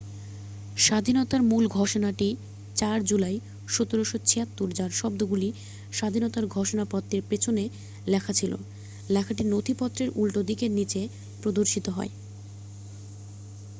"""স্বাধীনতার মূল ঘোষণাটি 4 জুলাই 1776" যার শব্দগুলি স্বাধীনতার ঘোষণা পত্রের পেছনে লেখা ছিল। লেখাটি নথিপত্রের উল্টোদিকের নিচে প্রদর্শিত হয়।